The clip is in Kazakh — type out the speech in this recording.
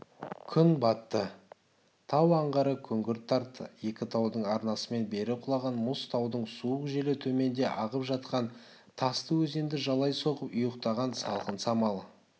күн батты тау аңғары күңгірт тартты екі таудың арнасымен бері құлаған мұз таудың суық желі төменде ағып жатқан тасты өзенді жалай соғып ұйтқыған салқын самалы